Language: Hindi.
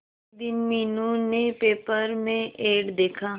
एक दिन मीनू ने पेपर में एड देखा